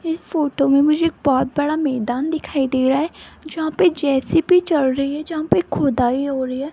इस फोटो में मुझे बहुत बड़ा मैदान दिखाई दे रहा है जहां पे जे_सी_बी चल रही है जहां पे खुदाई हो रही है।